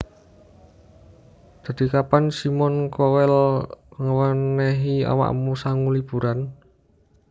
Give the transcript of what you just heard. Dadi kapan Simon Cowell ngewenehi awakmu sangu liburan?